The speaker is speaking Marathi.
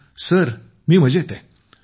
विजयशांती जीः सर मी मजेत आहे